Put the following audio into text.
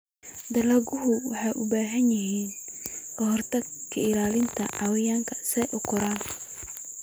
Dalagyadu waxay u baahan yihiin ka-hortag ka ilaalinta cayayaanka si ay u koraan.